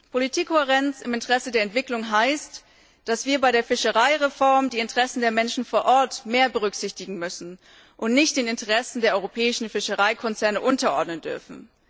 Politikkohärenz im Interesse der Entwicklung heißt, dass wir bei der Fischereireform die Interessen der Menschen vor Ort mehr berücksichtigen müssen und nicht den Interessen der europäischen Fischereikonzerne unterordnen dürfen.